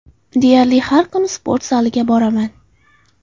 Deyarli har kuni sport zaliga boraman.